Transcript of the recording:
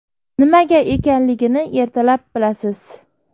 Nimaga ekanligini ertalab bilasiz.